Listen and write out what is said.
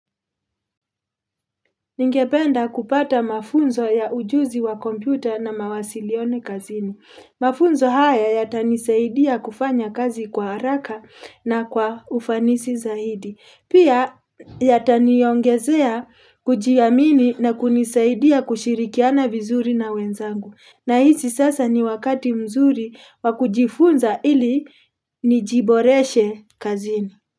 Ningependa kupata mafunzo ya ujuzi wa kompyuta na mawasiliano kazini. Mafunzo haya yatanisaidia kufanya kazi kwa haraka na kwa ufanisi zaidi. Pia yataniongezea kujiamini na kunisaidia kushirikiana vizuri na wenzangu. Na hizi sasa ni wakati mzuri wa kujifunza ili nijiboreshe kazini.